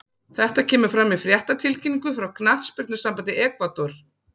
Þetta kemur fram í fréttatilkynningu frá knattspyrnusambandi Ekvador.